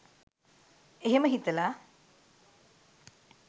එහෙම හිතලා